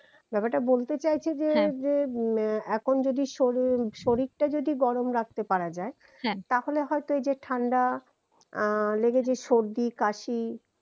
ব্যাপারটা বলতে চাইছি যে হ্যা উম এখন যদি শরীর শরীরটা যদি গরম রাখতে পারা যায় হ্যা তাহলে হয়তো এই যে ঠান্ডা আহ লেগে যে সর্দি কাশি